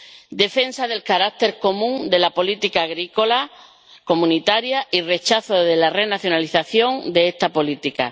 Debe defenderse el carácter común de la política agrícola comunitaria y rechazarse la renacionalización de esta política.